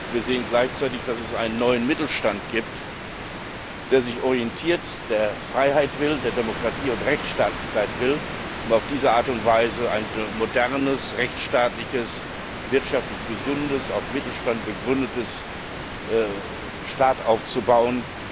Wir sehen gleichzeitig, dass es einen neuen Mittelstand gibt, der sich orientiert, der Freiheit will, der Demokratie und Rechtsstaatlichkeit will, um auf diese Art und Weise einen modernen rechtsstaatlichen, wirtschaftlich gesunden, auf dem Mittelstand begründeten Staat aufzubauen.